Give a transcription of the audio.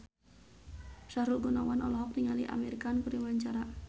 Sahrul Gunawan olohok ningali Amir Khan keur diwawancara